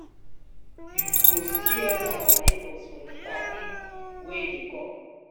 you go see all our neighbors for di party wey dey come